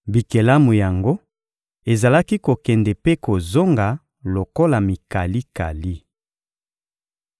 Bikelamu yango ezalaki kokende mpe kozonga lokola mikalikali.